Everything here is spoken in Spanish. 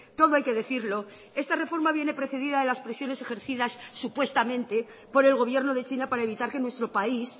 todo hay que decirlo esta reforma viene precedida de las presiones ejercidas supuestamente por el gobierno de china para evitar que nuestro país